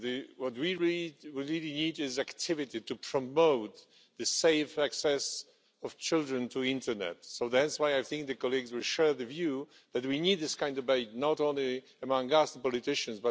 What we really need is activity to promote the safe access of children to the internet. So that's why I think my colleagues will share the view that we need this kind of debate, not only among us politicians.